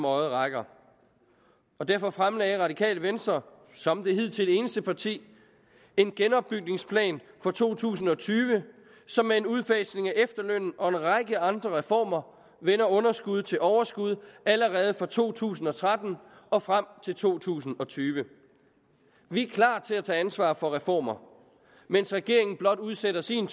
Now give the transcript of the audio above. øjet rækker derfor fremlagde radikale venstre som det hidtidigt eneste parti en genopbygningsplan for to tusind og tyve som med en udfasning af efterlønnen og en række andre reformer vender underskud til overskud allerede for to tusind og tretten og frem til to tusind og tyve vi er klar til at tage ansvar for reformer mens regeringen blot udsætter sin